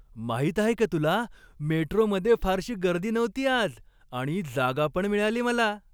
माहीत आहे का तुला, मेट्रोमध्ये फारशी गर्दी नव्हती आज आणि जागा पण मिळाली मला?